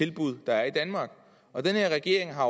tilbud der er i danmark og den her regering har